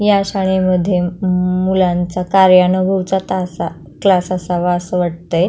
या शाळे मध्ये मुउ मुलाचा कार्यानाभुचा तास क्लास असावा अस वाटते.